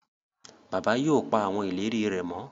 Bàbá yóò pá àwọn ìlérí rè mọ